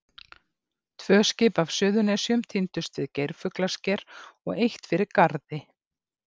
Tvö skip af Suðurnesjum týndust við Geirfuglasker og eitt fyrir Garði.